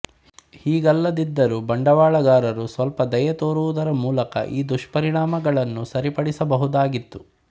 ಹೀಗಲ್ಲದಿದ್ದರೂ ಬಂಡವಾಳಗಾರರು ಸ್ವಲ್ಪ ದಯೆ ತೋರುವುದರ ಮೂಲಕ ಈ ದುಷ್ಪರಿಣಾಮಗಳನ್ನು ಸರಿಪಡಿಸಬಹುದಾಗಿತ್ತು